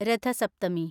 രഥ സപ്തമി